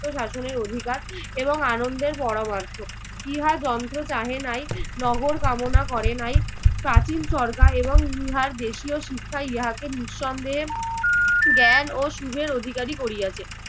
স্বায়ত্বশাসনের অধিকার এবং আনন্দের পরামার্থ। ইহা যন্ত্র চাহে নাই, নগর কামনা করে নাই প্রাচীন চরকা এবং ইহার দেশীয় শিক্ষা ইহাকে নিঃসন্দেহে জ্ঞান ও সুখের অধিকারী করিয়াছে।